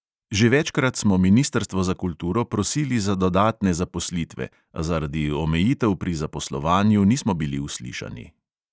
Že večkrat smo ministrstvo za kulturo prosili za dodatne zaposlitve, a zaradi omejitev pri zaposlovanju nismo bili uslišani.